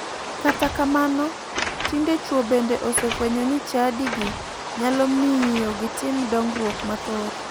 Kata kamano, tinde chuo bende osefuwenyo ni chadigi nyalo miyo gitim dongruok mathoth.